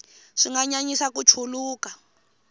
swi nga nyanyisa ku chuluka